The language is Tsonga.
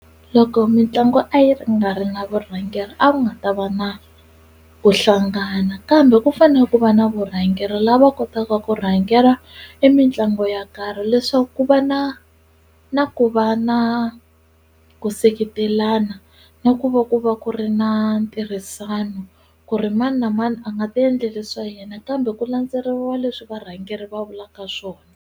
Loko mitlangu a yi ri nga ri na vurhangeri a ku nga ta va na ku hlangana kambe ku fane ku va na vurhangeri lava kotaka ku rhangela i mitlangu ya karhi leswaku ku va na na ku va na ku seketelana na ku va ku va ku ri na ntirhisano ku ri mani na mani a nga ti endleli swa yena kambe ku landzeriwa leswi varhangeri va vulaka swona.